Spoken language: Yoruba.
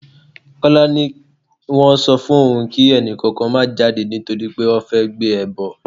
Kọ́lá ni wọ́n sọ fún òun kí ẹni kankan má jáde nítorí pé wọ́n fẹ́ gbé ẹbọ.